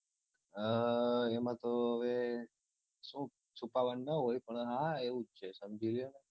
ઉહ એમા તો હવે શુ છુપાવાન ન હોય પણ હા એવું જ છે સમજી ગયા ને